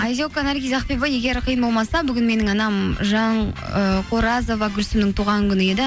айзека наргиз ақбибі егер қиын болмаса бүгін менің анам жан ыыы қоразова гүлсімнің туған күні еді